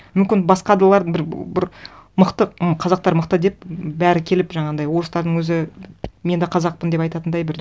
мүмкін бір мықты м қазақтар мықты деп бәрі келіп жаңағындай орыстардың өзі мен де қазақпын деп айтатындай бір